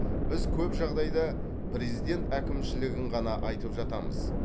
біз көп жағдайда президент әкімшілігін ғана айтып жатамыз